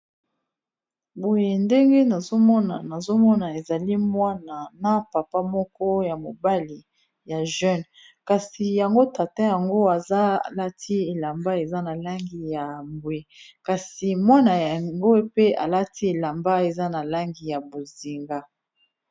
Boye ndenge nazomona, ezali mwana na papa moko ya mobali ya jeune, kasi yango tata yango alati elamba eza na langi ya mbwe, kasi mwana yango pe alati elamba eza na langi ya bozinga.